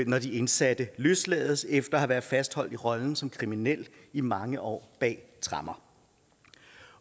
når de indsatte løslades efter at have været fastholdt i rollen som kriminel i mange år bag tremmer